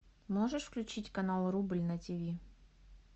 можешь включить канал рубль на ти ви